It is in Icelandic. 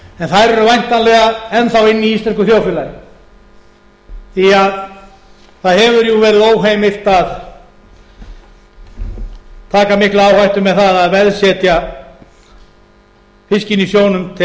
en þær eru væntanlega enn þá inni í íslensku þjóðfélagi því það hefur verið óheimilt að taka mikla áhættu með það að veðsetja fiskinn í sjónum til